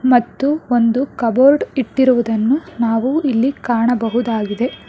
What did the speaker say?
ಮತ್ತು ಒಂದು ಕಬೋರ್ಡ್ ಇಟ್ಟಿರುವುದನ್ನು ನಾವು ಇಲ್ಲಿ ಕಾಣಬಹುದಾಗಿದೆ.